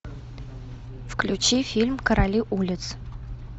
включи фильм короли улиц